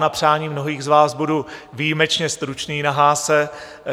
Na přání mnohých z vás budu výjimečně stručný na Haase.